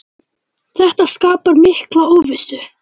Þetta skapar mikla óvissu.